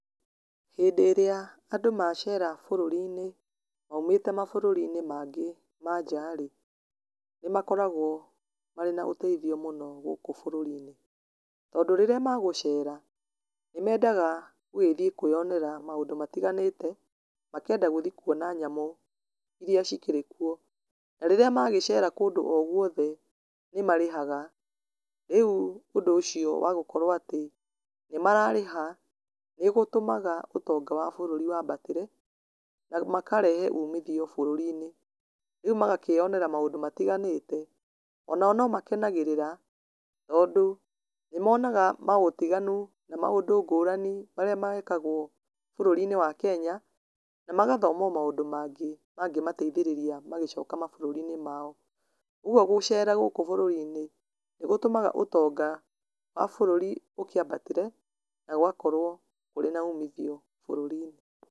Hĩndĩ ĩrĩa andũ macera bũrũri-inĩ, maimĩte mabũrũri-inĩ mangĩ manja rĩ, nĩ makoragwo marĩ na ũtethio mũno gũkũ bũrũri-inĩ, tondũ rĩrĩa magũcera nĩ mendaga gũgĩthiĩ kweyonera maũndũ matiganĩte, makenda gũthiĩ kuona nyamũ, irĩa cikĩrĩ kuo, na rĩrĩa magĩcere kũndũ o gwothe, nĩ marĩhaga, rĩu ũndũ ũcio wa gũkorwo atĩ, nĩ mararĩha, nĩgũtũmaga ũtonga wa bũrũri wambatĩre, na makarehe umithio bũrũri-inĩ, rĩu magakĩyonera maũndũ matiganĩte, onao no makenagĩrĩra, tondũ, nĩmonaga maũtiganu na maũndũ ngũrani marĩa mekagwo bũrũri-inĩ wa Kenya, na magathoma o maũndũ mangĩ, mangĩmateithĩrĩria magĩcoka mabũrũri-inĩ mao, ũguo gũcera gũkũ bũrũri-inĩ nĩ gũtũmaga ũtonga wa bũrũri ũkĩambatĩre, na gũgakorwo kũrĩ na umithio bũrũri-inĩ.